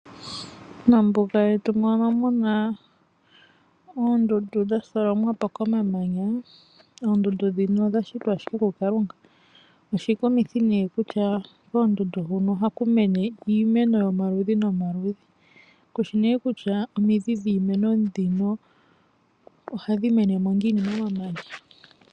Mombuga yetu moka muna oondundu dha tholomwapo komamanya. Oondundu dhika odha shitwa ashike ku kalunga, koondundu huka ohaku mene iimeno yomaludhi nomaludhi, kushi ne kutya omidhi dhiimeno mbika ohadhi menemo ngiini mo mamanya.